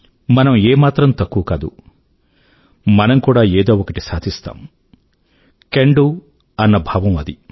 మనం ఏ మాత్రం తక్కువ కాదు మనం కూడా ఏదో ఒకటి సాధిస్తాం క్యాన్ డో అన్న భావం అది